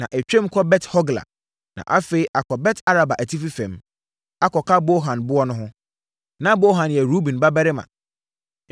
na ɛtwam kɔ Bet-Hogla, na afei akɔ Bet-Araba atifi fam, akɔka Bohan boɔ no ho. Na Bohan yɛ Ruben babarima.